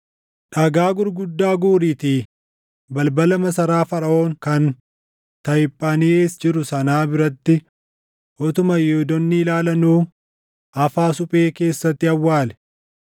“Dhagaa gurguddaa guuriitii balbala masaraa Faraʼoon kan Tahiphaanhees jiru sanaa biratti utuma Yihuudoonni ilaalanuu afaa suphee keessatti awwaali.